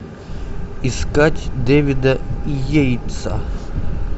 искать дэвида йейтса